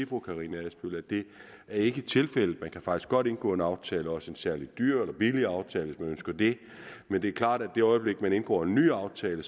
fru karina adsbøl at det ikke er tilfældet man kan faktisk godt indgå en aftale også en særlig dyr eller billig aftale hvis man ønsker det men det er klart at i det øjeblik man indgår en ny aftale